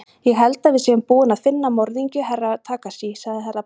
Ég held að við séum búin að finna morðingju Herra Takashi, sagði Herra Brian.